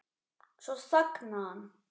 Svo þagnaði hann.